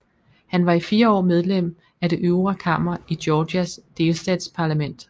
Han var i 4 år medlem af det øvre kammer i Georgias delstatsparlament